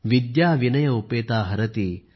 विद्या विनय उपेता हरति